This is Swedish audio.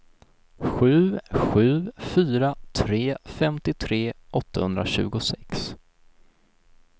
sju sju fyra tre femtiotre åttahundratjugosex